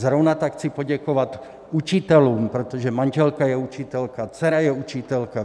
Zrovna tak chci poděkovat učitelům, protože manželka je učitelka, dcera je učitelka.